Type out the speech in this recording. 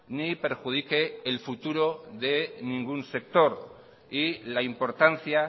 ni perjudique el futuro de ningún sector y la importancia